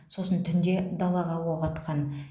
сосын түнде далаға оқ атқан